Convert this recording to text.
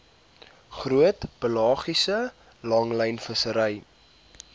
groot pelagiese langlynvissery